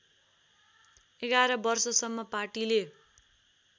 ११ वर्षसम्म पार्टीले